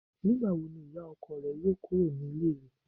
Nígbàwo ni ìyá ọkọ rẹ yóò kúrò ní Ilé rẹ̀